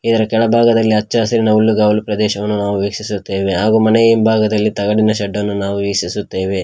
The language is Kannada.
ಇದರ ಕೆಳಭಾಗದಲ್ಲಿ ಹಚ್ಚ ಹಸಿರಿನ ಹುಲ್ಲುಗವಲು ಪ್ರದೇಶವನ್ನು ನಾವು ವೀಕ್ಷಿಸುತ್ತೇವೆ ಹಾಗು ಮನೆಯ ಹಿಂಭಾಗದಲ್ಲಿ ತಗಡಿನ ಶೆಡ್ಡನ್ನು ನಾವು ವೀಕ್ಷಿಸುತ್ತೇವೆ.